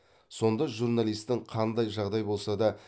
сонда журналистің қандай жағдай болса да